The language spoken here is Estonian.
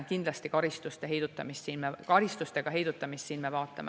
Karistustega heidutamist me kindlasti siin vaatame.